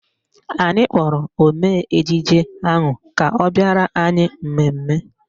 Anyị kpọrọ omee ejije ahụ ka ọ bịara anyị mmemme